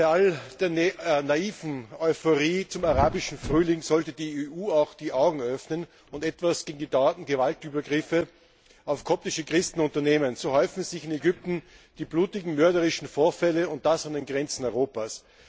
Bei all der naiven Euphorie zum Arabischen Frühling sollte die EU auch die Augen öffnen und etwas gegen die dauernden Gewaltübergriffe auf koptische Christen unternehmen. So häufen sich in Ägypten die blutigen und mörderischen Vorfälle, und das an den Grenzen Europas.